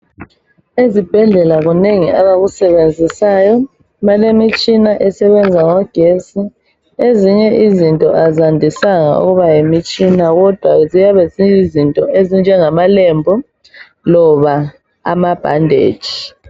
Ezibhedlela kunengi abakusebenzisayo, balemitshina esebenza ngogesi. Ezinye izinto azandisanga ukuba yimitshina kodwa ziyabe ziyizinto ezinjema lembu loba amabhandeji.